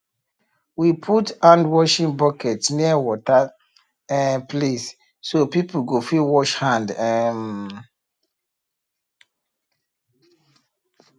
we put handwashing bucket near water um place so people go fit wash hand um